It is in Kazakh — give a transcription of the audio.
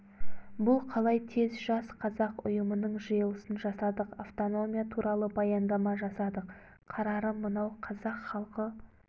бұл қалай тез жас қазақ ұйымының жиылысын жасадық автономия туралы баяндама жасадық қарары мынау қазақ халқы